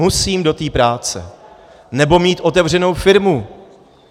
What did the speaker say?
Musím do té práce nebo mít otevřenou firmu.